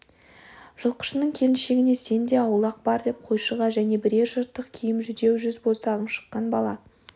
жылқышының келіншегіне сен де аулақ бар деп қойшыға және бірер жыртық киім жүдеу жүз боздағың шыққан бала